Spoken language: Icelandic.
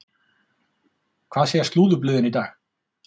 Hvað segja slúðurblöðin í dag?